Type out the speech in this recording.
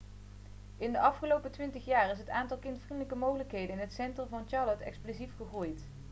in de afgelopen 20 jaar is het aantal kindvriendelijke mogelijkheden in het centrum van charlotte explosief gegroeid